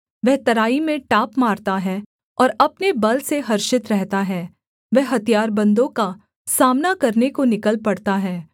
वह तराई में टाप मारता है और अपने बल से हर्षित रहता है वह हथियारबन्दों का सामना करने को निकल पड़ता है